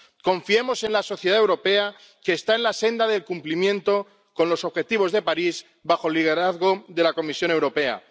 Confiemos en la sociedad europea, que está en la senda del cumplimiento de los objetivos de París bajo el liderazgo de la Comisión Europea.